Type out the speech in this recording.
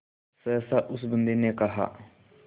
सहसा उस बंदी ने कहा